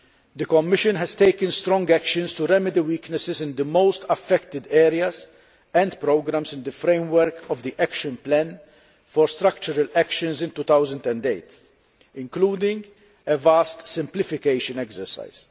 The Commission has taken strong actions to remedy weaknesses in the most affected areas and programmes in the framework of the action plan for structural actions in 2008, including a vast simplification exercise.